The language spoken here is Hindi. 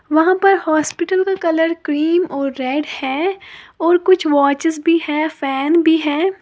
वहां पर हॉस्पिटल का कलर क्रीम और रेड है और कुछ वॉचेस भी है फैन भी है।